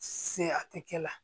Se a tɛ kɛ la